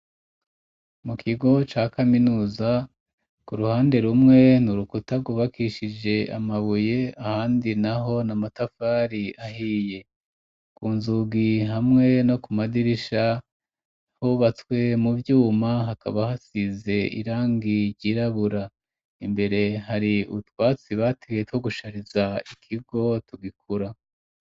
Mu kigo ca kaminuza ku ruhande rumwe nurukuta, gubakishije amabuye ahandi naho na matafari ahiye, kunzugi hamwe no ku madirisha hubatswe mu vyuma hakaba hasize irangigirabura imbere hari ubutwatsi bateye two gushariza ikigo tugikura.